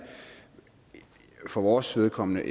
for vores vedkommende